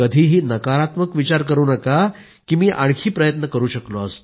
कधीही नकारात्मक विचार करु नका की मी आणखी प्रयत्न करु शकलो असतो